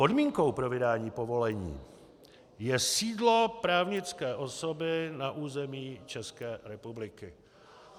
Podmínkou pro vydání povolení je sídlo právnické osoby na území České republiky.